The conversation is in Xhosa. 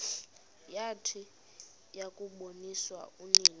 yathi yakuboniswa unina